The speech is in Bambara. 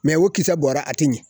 o kisɛ bɔra a te ɲɛ